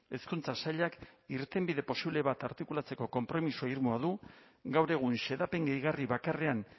hezkuntza sailak irtenbide posible bat artikulatzeko konpromiso irmoa du gaur egun xedapen gehigarri bakarrean